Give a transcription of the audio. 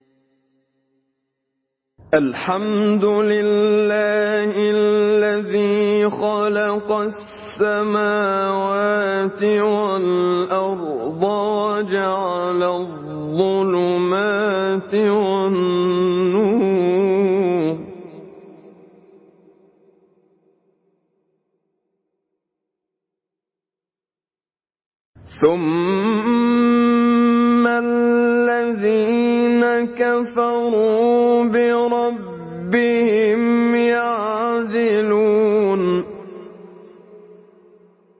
الْحَمْدُ لِلَّهِ الَّذِي خَلَقَ السَّمَاوَاتِ وَالْأَرْضَ وَجَعَلَ الظُّلُمَاتِ وَالنُّورَ ۖ ثُمَّ الَّذِينَ كَفَرُوا بِرَبِّهِمْ يَعْدِلُونَ